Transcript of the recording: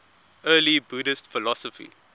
early buddhist philosophy